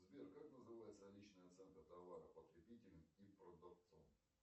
сбер как называется личная оценка товара потребителем и продавцом